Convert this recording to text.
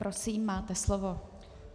Prosím, máte slovo.